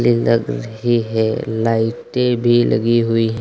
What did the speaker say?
जिनका घर ये है लाइटें भी लगी हुई हैं।